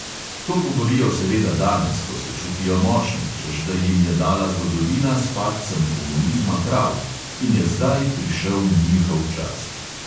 To govorijo seveda danes, ko se čutijo močne, češ da jim je dala zgodovina s padcem komunizma prav in je zdaj prišel njihov čas.